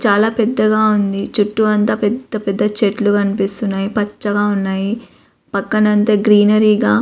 చాలా పెద్దగా ఉంది. చుట్టూ అంతా పెద్ద పెద్ద చెట్లు కనిపిస్తున్నాయి. పచ్చగా ఉన్నాయి. పక్కన అంత గ్రీనరీ గా --